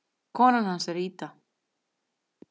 Kona hans er Ida.